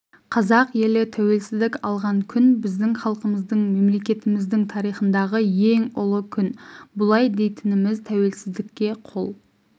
қазақ елі тәуелсіздік алған күн біздің халқымыздың мемлекетіміздің тарихындағы ең ұлы күн бұлай дейтініміз тәуелсіздікке қол